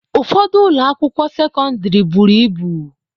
Ụfọdụ ụlọ akwụkwọ sekọndrị buru ibu.